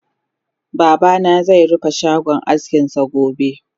Babana ze rufe shagon askinsa gobe